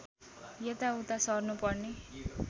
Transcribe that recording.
यताउता सर्नुपर्ने